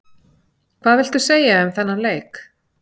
Hvað viltu segja um þennan leik?